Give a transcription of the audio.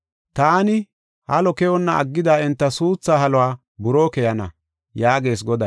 Taani halo keyonna aggida enta suuthaa haluwa buroo keyana” yaagees Goday.